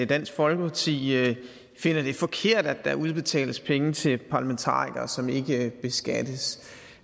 dansk folkeparti finder det forkert at der udbetales penge til parlamentarikere som ikke beskattes